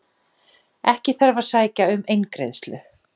Ekki þarf að sækja um eingreiðslu